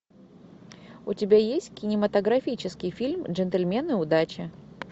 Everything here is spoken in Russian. у тебя есть кинематографический фильм джентльмены удачи